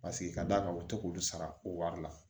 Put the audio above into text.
Paseke ka d'a kan u ti k'olu sara ko wari la